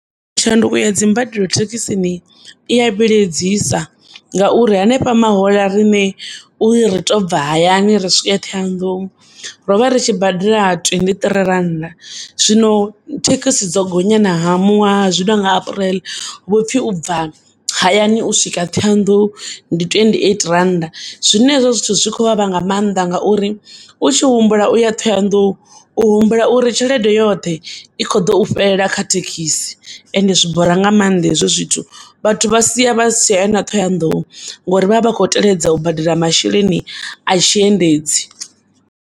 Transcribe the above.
Tshanduko ya dzimbadelo thekisini iya vhiledzisa ngauri hanefha mahoḽa rine uri ritobva hayani ri swike Thohoyandou ro vha ri tshi badela twenty-three randa zwino thekisi dzo gonya zwino nga apreḽe huvhopfi ubva hayani uswika Thohoyandou ndi twenty-eight randa. Zwine hezwo zwithu zwi khou vhavha nga maanḓa ngauri u tshihumbula uya Thohoyandou u humbula uri tshelede yoṱhe ikhoḓo ufhelela kha thekisi ende zwi bora nga maanḓa hezwo zwithu vhathu vhasiya vhasitshaya na Thohoyandou ngori vha vha vha khoteledza u badela masheleni a tshiendedzi.